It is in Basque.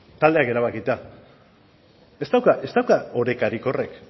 taldeak erabakita ez dauka orekarik horrek